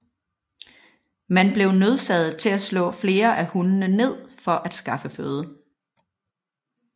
Man blev nødsaget til at slå flere af hundene ned for at skaffe føde